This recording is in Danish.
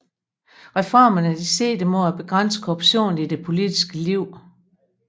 Reformerne sigtede mod at begrænse korruptionen i det politiske liv